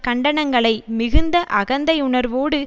கண்டனங்களை மிகுந்த அகந்தை உணர்வோடு